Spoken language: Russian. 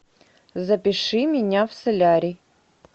запиши меня в солярий